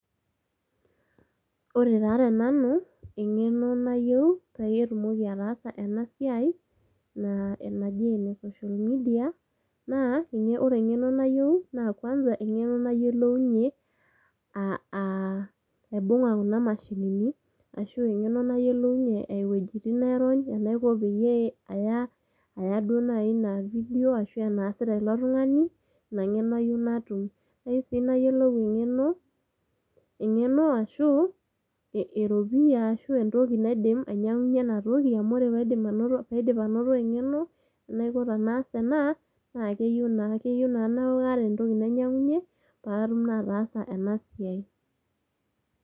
Ore taa te nanu naa tenanu engeno nayieu peyie atumoki ataasa ena siai naji ene social media .Naaore engeno nayieu naa kwanza engeno nayiolounyie ,aaaibunga kuna mashinini, ashu engeno nayiolounyie iwuejitin nairony, enaiko peyie aya ,aya duo naji video ashu enaasita ilo tungani ,ina engeno ayieu natum. Kayieu siinayiolou engeno ashu eropiyia ashuaa entoki naidim enatoki amu ore paidip anoto engeno enaiko tenaas ena naa keyieu naa keyieu naa kaaata entoki nainyiangunyie patum naa ataasa ena siai.